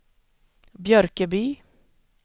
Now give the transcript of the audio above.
Björköby